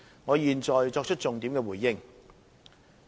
我現在作出重點回應。